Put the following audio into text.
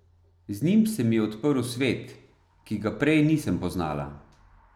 Z njim se mi je odprl svet, ki ga prej nisem poznala.